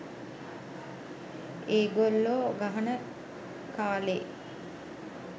ඒගොල්ලෝ ගහන කාලේ